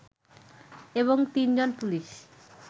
এবং তিনজন পুলিশ